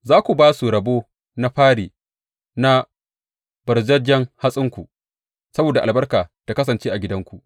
Za ku ba su rabo na fari na ɓarzajjen hatsinku saboda albarka ta kasance a gidanku.